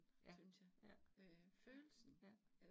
Ja ja, ja ja